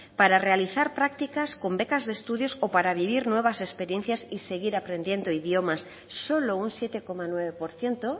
para realizar prácticas con becas de estudios o para vivir nuevas experiencias y seguir aprendiendo idiomas solo un siete coma nueve por ciento